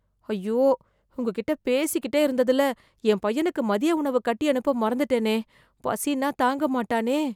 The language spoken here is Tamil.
ஐயோ, உங்க கிட்டே பேசிக்கிட்டே இருந்ததுல, என் பையனுக்கு மதிய உணவு கட்டி அனுப்ப மறந்துட்டேனே... பசின்னா தாங்க மாட்டானே...